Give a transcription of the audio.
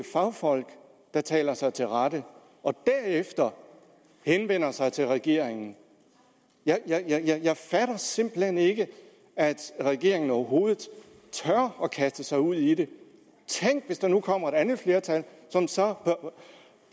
fagfolk der taler sig til rette og derefter henvender sig til regeringen jeg fatter simpelt hen ikke at regeringen overhovedet tør kaste sig ud i det tænk hvis der nu kommer et andet flertal som så